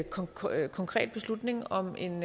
konkret konkret beslutning om en